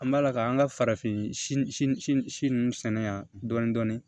An b'a la k'an ka farafin si nunnu sɛnɛ yan dɔɔni dɔɔni